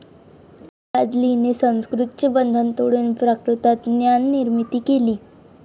भादलीने संस्कृतचे बंधन तोडून प्राकृतात ज्ञाननिर्मिती केली.